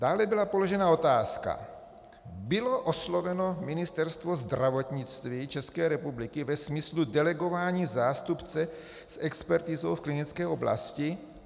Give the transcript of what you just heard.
Dále byla položena otázka: Bylo osloveno Ministerstvo zdravotnictví České republiky ve smyslu delegování zástupce s expertizou v klinické oblasti?